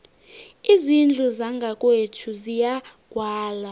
izindlu zangakwethu ziyagwalwa